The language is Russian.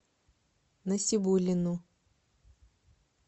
насибуллину